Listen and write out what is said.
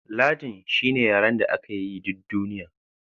Latin shine yaren da aka yi yi duk duniya